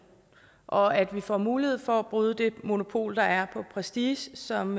og at vi får mulighed for at bryde det monopol der er på prestige som